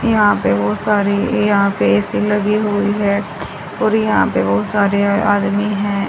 यहां पे बहुत सारी यहां पे ऐ_सी लगी हुई है और यहां पे बहुत सारे आदमी है।